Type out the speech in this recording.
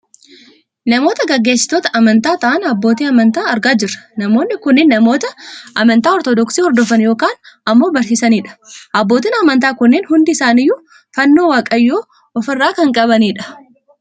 Namoota geggeesitoota amantaa ta'an abootii amantaa argaa jirra. Namoonni kunneen namoota amantaa ortodoksi hordofan yookaan ammoo barsiisaani dha. Abbootiin amantaa kunneen hundi isaaniiyyuu fannoo waaqayyoo of irraa kan qabani dha.